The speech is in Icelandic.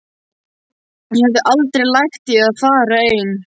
Ég hefði aldrei lagt í að fara ein.